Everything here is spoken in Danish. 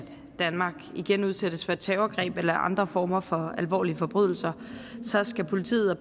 danmark igen udsættes for et terrorangreb eller andre former for alvorlige forbrydelser så skal politiet og